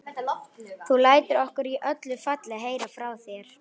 Þú lætur okkur í öllu falli heyra frá þér.